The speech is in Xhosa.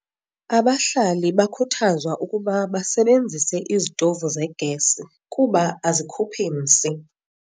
Abahlali bakhuthazwa ukuba basebenzise izitovu zegesi kuba azikhuphi msi.